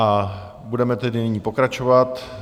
A budeme tedy nyní pokračovat.